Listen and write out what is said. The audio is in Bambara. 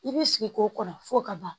I b'i sigi k'o kɔnɔ f'o ka ban